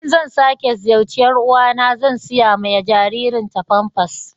In zan sake ziyarce yar'uwa na zan sayi ma jaririn ta pampers